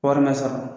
Wari ma sɔrɔ